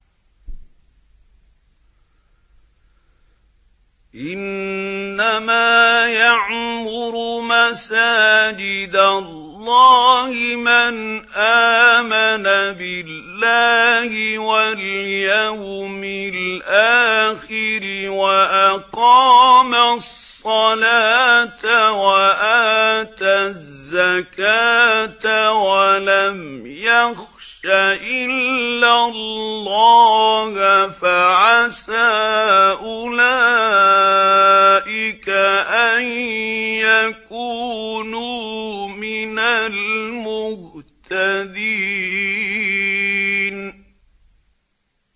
إِنَّمَا يَعْمُرُ مَسَاجِدَ اللَّهِ مَنْ آمَنَ بِاللَّهِ وَالْيَوْمِ الْآخِرِ وَأَقَامَ الصَّلَاةَ وَآتَى الزَّكَاةَ وَلَمْ يَخْشَ إِلَّا اللَّهَ ۖ فَعَسَىٰ أُولَٰئِكَ أَن يَكُونُوا مِنَ الْمُهْتَدِينَ